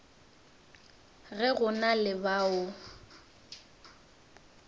ge go na le bao